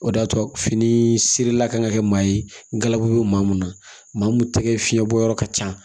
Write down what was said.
O y'a to fini sirila kan ka kɛ maa ye galabu bɛ maa mun na maa mun tɛgɛ fiɲɛbɔ yɔrɔ ka ca